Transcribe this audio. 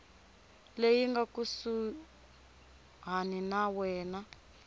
leyi nga kusuhani na wena